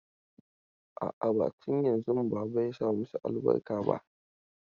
A'a, ba tun yanzun baba ya saka masa albarka ba.